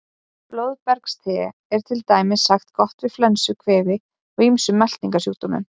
Blóðbergste er til dæmis sagt vera gott við flensu, kvefi og ýmsum meltingarsjúkdómum.